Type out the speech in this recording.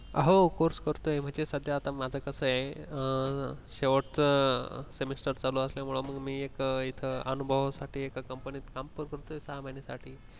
हो course करतोय पण सध्या ते आता माझं कसं आहे शेवटचा semester चालू असल्यामुळ म्हणून मी एक इथ अनुभवासाठी एका company त काम करतोय सहा महिन्यासाठी